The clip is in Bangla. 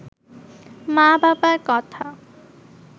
মা-বাবার কথা